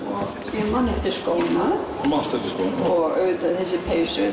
ég man eftir skónum og þessari peysu